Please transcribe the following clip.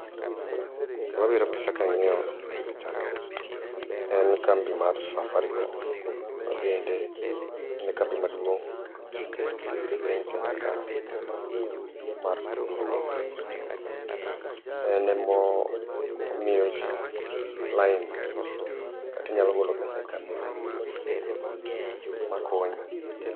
Gima bire pacha kang'io pichani, en kambi mar Safaricom, mabende en kambi maduong' e piny Kenya ka mar tudrwuok. Enemomio jii line kata inyalo golo pesa e kambini makonyi.